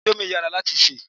Íńdómì yàrá láti ṣé.